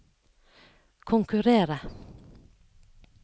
konkurrere